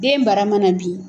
Den bara mana bin